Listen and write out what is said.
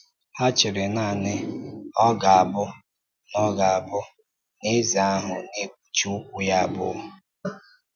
Hà chèrè nanị na ọ ga-abụ na ọ ga-abụ na eze ahụ “na-ekpuchí ụkwụ ya abụọ.”